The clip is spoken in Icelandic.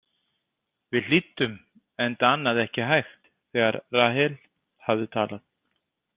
Við hlýddum, enda annað ekki hægt þegar Rahel hafði talað.